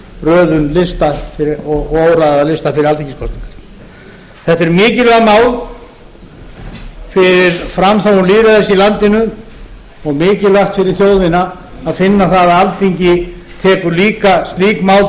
röðun lista og óraðaða lista fyrir alþingiskosningar þetta eru mikilvæg mál fyrir framþróun lýðræðis í landinu og mikilvægt fyrir þjóðina að finna að alþingi tekur líka slík mál